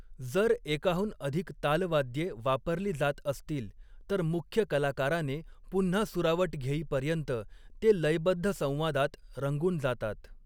जर एकाहून अधिक तालवाद्ये वापरली जात असतील, तर मुख्य कलाकाराने पुन्हा सुरावट घेईपर्यंत ते लयबद्ध संवादात रंगून जातात.